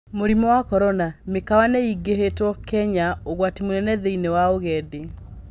Murimu wa Korona: Mĩkawa nĩ ĩvingitwo Kenya, ugwati munene thĩĩnĩ wa ugendi